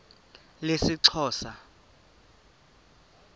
lesixhosa